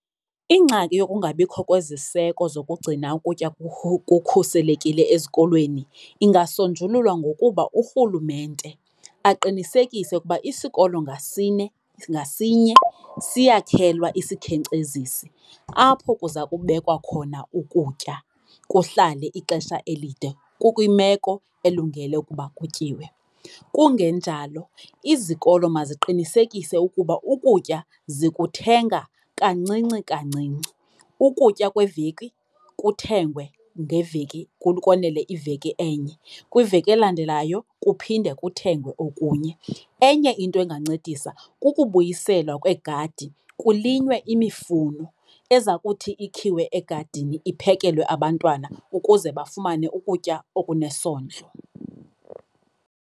Ingxaki yokungabikho kweziseko zokugcina ukutya kukhuselekile ezikolweni ingasonjululwa ngokuba urhulumente aqinisekise ukuba isikolo ngasine ngasinye siyakhelwa isikhenkcezisi apho kuza kubekwa khona ukutya kuhlale ixesha elide kukwimeko elungele ukuba kutyiwe. Kungenjalo izikolo maziqinisekise ukuba ukutya zikuthenga kancinci kancinci. Ukutya kweveki kuthengwe ngeveki konele iveki enye, kwiveki elandelayo kuphinde kuthengwe okunye. Enye into engancedisa kukubuyiselwa kweegadi kulinywe imifuno eza kuthi ikhiwe egadini iphekelwe abantwana ukuze bafumane ukutya okunesondlo.